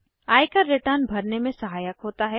आयकर रिटर्न भरने में सहायक होता है